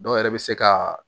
Dɔw yɛrɛ bɛ se ka